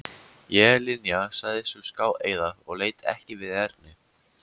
Ég Linja sagði sú skáeygða og leit ekki við Erni.